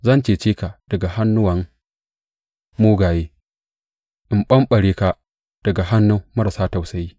Zan cece ka daga hannuwan mugaye in ɓamɓare ka daga hannun marasa tausayi.